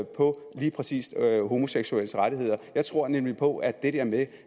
på lige præcis homoseksuelles rettigheder jeg tror nemlig på at det der med